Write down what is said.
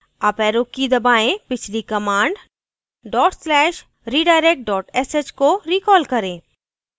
uparrow की दबाएँ पिछली command dot slash redirect dot sh को recall करें